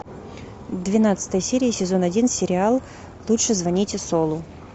двенадцатая серия сезон один сериал лучше звоните солу